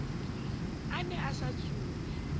a ne a sa tsube